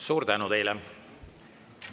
Suur tänu teile!